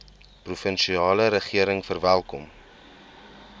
provinsiale regering verwelkom